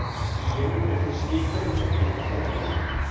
Hýenur eru því skyldari köttum heldur en hundum.